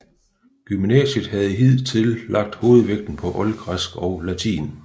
Gymnasiet havde hidtil lagt hovedvægten på oldgræsk og latin